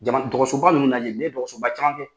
dɔgɔsoba ninnu lajɛ ne ye dɔgɔsoba caman kɛ.